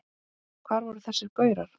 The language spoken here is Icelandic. Hvar voru þessir gaurar?